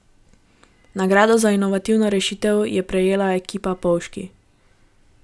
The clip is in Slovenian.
Nagrado za inovativno rešitev je prejela ekipa Polžki.